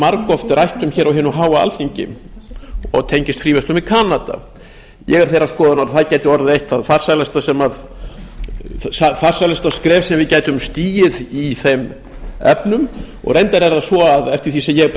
margoft rætt um hér á hinu háa alþingi og tengist fríverslun við kanada ég er þeirrar skoðunar að það gæti orðið eitt það farsælasta skref sem við gætum stigið í þeim efnum reyndar er það svo eftir því sem ég